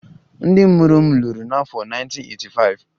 Ndị mụrụ m lụrụ n'afọ 1985